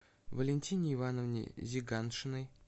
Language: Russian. валентине ивановне зиганшиной